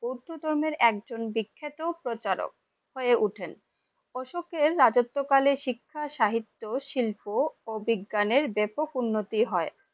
বৌধো ধর্মে একজন বিখ্যাত প্রচারক হয়ে উঠেন । অশোকের রাজত্বকালে শিক্ষা, সাহিত্য, শিল্প ও বিজ্ঞানের ব্যাপক উন্নতি হয়